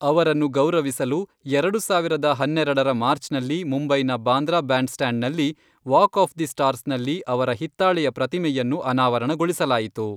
ಅವರನ್ನು ಗೌರವಿಸಲು, ಎರಡು ಸಾವಿರದ ಹನ್ನೆರೆಡರ ಮಾರ್ಚ್ನಲ್ಲಿ ಮುಂಬೈನ ಬಾಂದ್ರಾ ಬ್ಯಾಂಡ್ಸ್ಟ್ಯಾಂಡ್ನಲ್ಲಿ ವಾಕ್ ಆಫ್ ದಿ ಸ್ಟಾರ್ಸ್ನಲ್ಲಿ ಅವರ ಹಿತ್ತಾಳೆಯ ಪ್ರತಿಮೆಯನ್ನು ಅನಾವರಣಗೊಳಿಸಲಾಯಿತು.